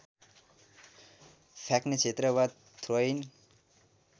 फ्याक्ने क्षेत्र वा थ्रोइङ